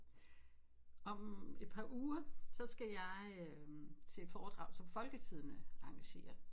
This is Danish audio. Om et par uger så skal jeg øh til et foredrag som folketidende arrangerer